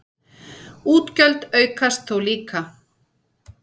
Útgjöld aukast þó líka.